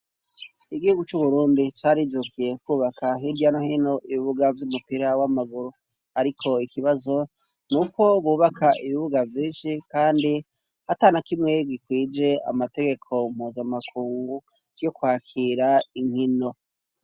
Igihugu c'uburundi carijukiye kubaka hirya no hino ibibuga vyumupira wamaguru ariko ikibazo nuko bubaka ibibuga vyinshi kandi atanakimwe gikwije amategeko mpuzamakungu yo kwakira inkino.